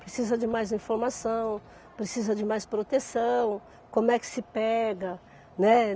Precisa de mais informação, precisa de mais proteção, como é que se pega, né?